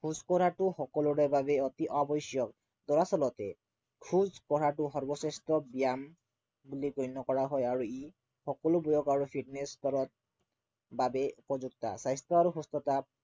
খোজকঢ়াটো সকলোৰে বাবে অতি আৱশ্য়ক দৰাচলতে খোজকঢ়াটো সৰ্বশ্ৰেষ্ঠ ব্য়ায়াম বুলি গণ্য় কৰা হয় আৰু ই সকলোবোৰক আৰু fitness কৰাৰ বাবে উপযুক্ত। স্বাস্থ্য় আৰু সুস্থতা